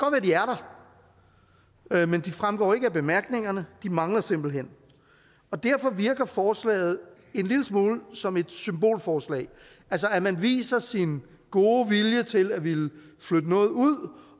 at de er der men de fremgår ikke af bemærkningerne de mangler simpelt hen derfor virker forslaget en lille smule som et symbolforslag altså at man viser sin gode vilje til at ville flytte noget ud